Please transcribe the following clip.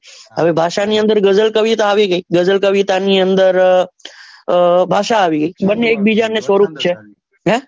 હવે ભાષાની અંદર ગઝલ કવિતા આવી ગઈ ગઝલ કવિતા ની અંદર આહ ભાષા આવી ગઈ બંને એક બીજા ને સ્વરૂપ છે હે?